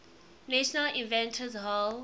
national inventors hall